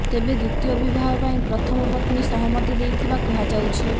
ତେବେ ଦ୍ୱିତୀୟ ବିବାହ ପାଇଁ ପ୍ରଥମ ପତ୍ନୀ ସହମତି ଦେଇଥିବା କୁହାଯାଉଛି